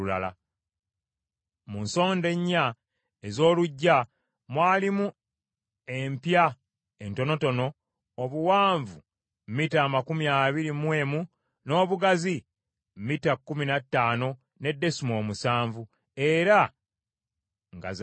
Mu nsonda ennya ez’oluggya mwalimu empya entonotono obuwanvu mita amakumi abiri mu emu n’obugazi mita kkumi na ttaano ne desimoolo musanvu, era nga za kigera kimu.